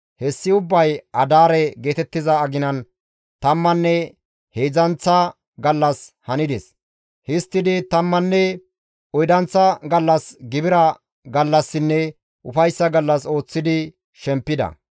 Hessi ubbay Adaare geetettiza aginan tammanne heedzdzanththa gallas hanides; histtidi tammanne oydanththa gallas gibira gallassinne ufayssa gallas ooththidi shempida.